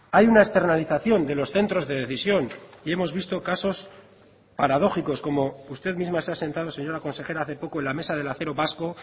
hay una externalización de los centros de decisión y hemos visto casos paradójicos como usted misma se ha sentado señora consejera hace poco en la mesa del acero vasco